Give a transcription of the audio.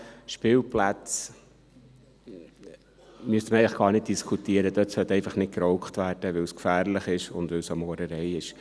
Spielplätze – darüber müssten wir eigentlich gar nicht diskutieren –, dort sollte einfach nicht geraucht werden, weil es gefährlich ist und weil es eine Sauerei ist.